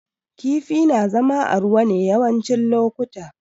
Kifi na zama a ruwa ne yawancin lokuta